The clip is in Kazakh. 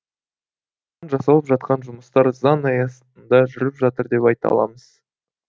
жасалып жатқан жұмыстар заң аясында жүріп жатыр деп айта аламыз